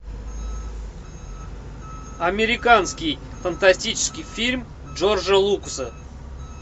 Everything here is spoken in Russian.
американский фантастический фильм джорджа лукаса